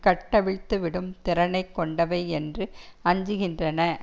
கட்டவிழ்த்துவிடும் திறனை கொண்டவை என்று அஞ்சுகின்றன